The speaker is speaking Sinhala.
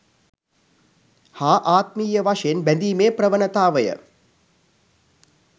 හා ආත්මීය වශයෙන් බැඳීමේ ප්‍රවණතාවය